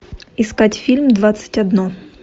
искать фильм двадцать одно